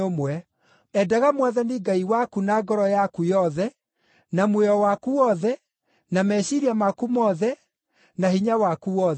Endaga Mwathani Ngai waku na ngoro yaku yothe, na muoyo waku wothe, na meciiria maku mothe, na hinya waku wothe.’